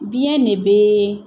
Biyɛn ne bɛ